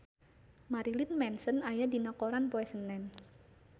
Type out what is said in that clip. Marilyn Manson aya dina koran poe Senen